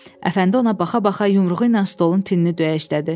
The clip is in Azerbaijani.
Əfəndi ona baxa-baxa yumruğu ilə stolun tinini döyəclədi.